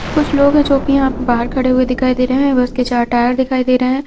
कुछ लोग हैं जो कि यहाँ पे बाहर खड़े हुए दिखाई दे रहे हैं बस के चार टायर दिखाई दे रहे हैं।